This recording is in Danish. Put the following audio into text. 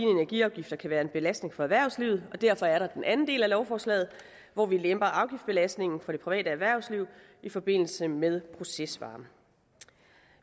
energiafgifter kan være en belastning for erhvervslivet og derfor er der den anden del af lovforslaget hvor vi lemper afgiftsbelastningen for det private erhvervsliv i forbindelse med procesvarme